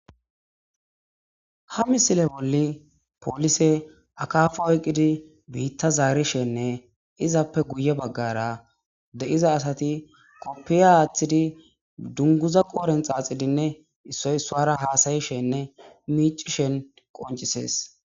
Ha misille bolla pollisey akafay oykkidi bitta zarishene izzappe guye baggara deyiza asati kofiya woththishene dungguzza qodhen xaaxixidi issoy issuwara hasayishene miicceshe qonccisees.